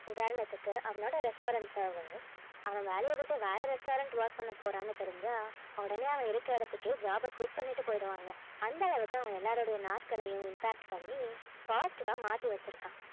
உதாரணத்துக்கு அவனுடைய restaurant servist அவன் வேலையை விட்டே வேற restaurant work பண்ண போறான்னு தெரிஞ்சா உடனே அவன் இருக்கிற இடத்துக்கே job அ quit பண்ணிட்டு போயிடுவாங்க அந்த அளவுக்கு அவன் எல்லாருடைய நாட்களையும் impact பண்ணி positive ஆ மாத்தி வெச்சி இருக்கான்